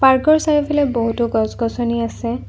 Park ৰ চাৰিওফালে বহুতো গছ-গছনি আছে।